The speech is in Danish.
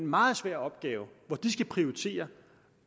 meget svære opgave at skulle prioritere